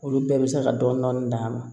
Olu bɛɛ bɛ se ka dɔɔnin dɔɔnin d'a ma